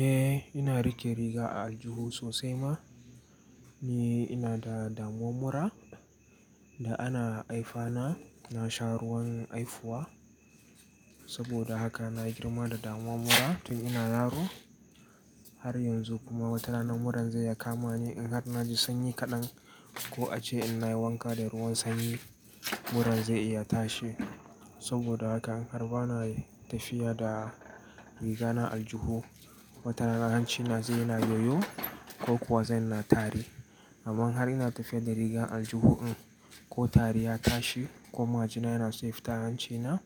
Eh ina rike riga a aljihu sosai ma. Ni ina da damuwar mura da ana haifa na, na sha ruwan haifuwa saboda haka na girma da damuwar mura tun ina yaro. Har yanzu kuma wata rana muran zai ya kama ni in har na ji sanyi kaɗan ko a ce ina wanka da ruwan sanyi muran zai iya tashi. Saboda haka in har bana tafiya da riga na aljihu, wata rana hancina zai yana yoyo ko kuwa zai na tari. Amma in har ina tafiya da riga aljihu in ko tari ya tashi ko ma jina yana so ya fita, a hanci na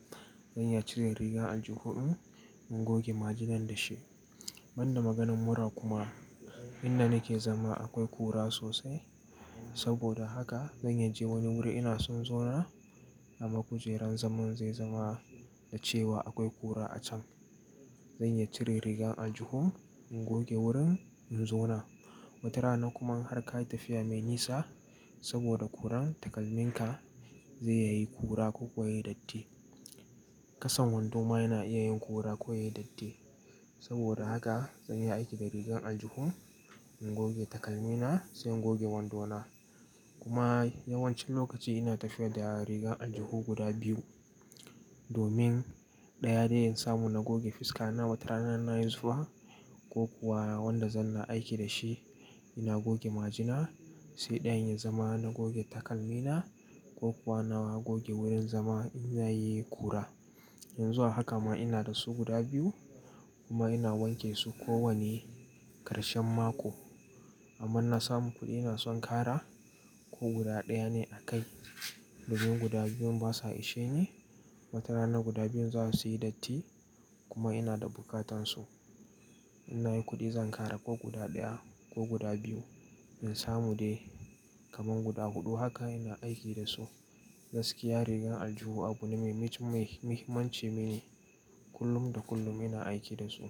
zan ya cire riga aljihu ɗin in goge ma jinan da shi. Ban da maganan mura kuma inda nake zama akwai kura sosai. Saboda haka zan je wani wuri ina son zauna a ma kujeran zaman zai zama da cewa akwai kura a can. Zan uya cire riga aljihu in goge wurin in zauna. Wata rana kuma in har ka yi tafiya mai nisa saboda kuran takalminka zai yayi kura ko kuwa yayi datti. Kasan wando ma yana iya yin kura ko yayi datti. Saboda haka zan iya aiki da riga aljihu in goge takalmina sai in goge wandona. Kuma yawancin lokaci ina tafiya da riga aljihu guda biyu, domin ɗaya dai in samu na goge fuska na wata rana na yi zuwa ko kuwa wanda zan na aiki da shi ina goge ma jina sai ɗayan ya zama na goge takalmina ko kuwa na goge wurin zama in yayi kura. Yanzu a haka ma ina da su guda biyu kuma ina wanke su kowane ƙarshen mako. Amma na samu kuɗi ina son ƙara ko guda ɗaya ne a kai domin guda biyun basa ishe ne. Wata rana guda biyun za su yi datti kuma ina da buƙatan su. In na yi kuɗi zan ƙara ko guda ɗaya ko guda biyu in samu dai kamar guda huɗu haka ina aiki da su. Gaskiya rigan aljihu abu ne mai muhimmanci mini kullum da kullum ina aiki da su.